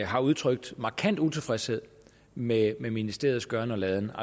har udtrykt markant utilfredshed med med ministeriets gøren og laden